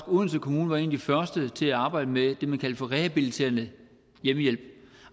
odense kommune var en af de første til at arbejde med det har det man kalder for rehabiliterende hjemmehjælp